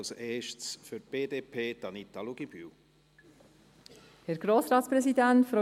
Als erste spricht Anita Luginbühl für die BDP.